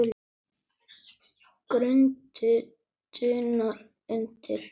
Grundin dunar undir.